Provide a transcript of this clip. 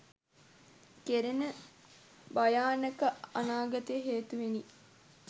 කෙරෙන භයානක අනාගතය හේතුවෙනි.